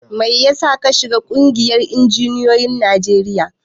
Mai yasa ka shiga ƙungiyar injiniyoyin Najeriya?